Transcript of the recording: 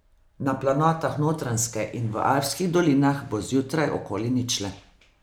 Na planotah Notranjske in v alpskih dolinah bo zjutraj okoli ničle.